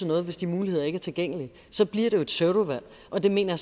noget hvis de muligheder ikke er tilgængelige så bliver det jo et pseudovalg og det mener